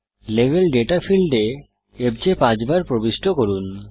level data ফীল্ডে FJ পাঁচবার প্রবিষ্ট করুন